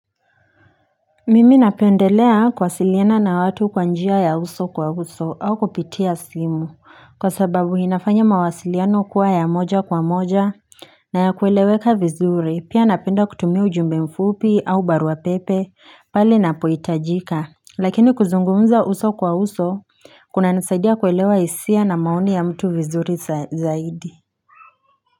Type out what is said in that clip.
Mimi napendelea kuwasiliana na watu kwa njia ya uso kwa uso au kupitia simu. Kwa sababu inafanya mawasiliano kuwa ya moja kwa moja na ya kueleweka vizuri. Pia napenda kutumia ujumbe mfupi au barua pepe pale napohitajika. Lakini kuzungumza uso kwa uso kunanisaidia kuelewa hisia na maoni ya mtu vizuri zaidi.